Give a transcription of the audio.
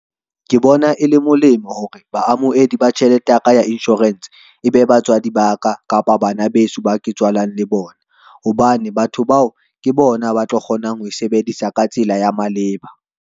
Ke bona e le molemo hore baamohedi ba tjhelete ya ka, ya insurance e be batswadi ba ka kapa bana beso, ba ke tswalang le bona. Hobane batho bao ke bona ba tlo kgonang ho e sebedisa ka tsela ya maleba.